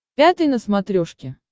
пятый на смотрешке